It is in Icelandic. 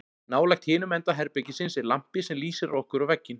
Nálægt hinum enda herbergisins er lampi sem lýsir á okkur og vegginn.